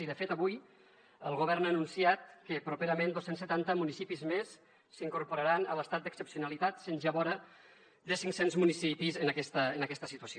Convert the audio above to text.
i de fet avui el govern ha anunciat que properament dos cents i setanta municipis més s’incorporaran a l’estat d’excepcionalitat havent ja vora de cinc cents municipis en aquesta situació